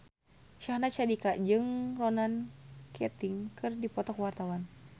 Syahnaz Sadiqah jeung Ronan Keating keur dipoto ku wartawan